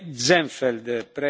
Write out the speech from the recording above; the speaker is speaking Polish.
Panie Przewodniczący!